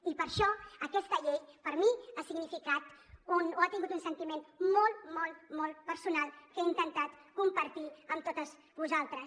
i per això aquesta llei per mi ha significat o ha tingut un sentiment molt molt molt personal que he intentat compartir amb totes vosaltres